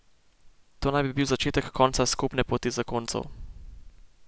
To naj bi bil začetek konca skupne poti zakoncev.